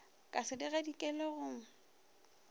ka se di gadikele go